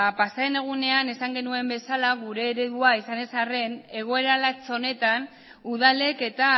pasadan egunean esan genuen bezala gure eredua izan ez arren egoera latz honetan udalek eta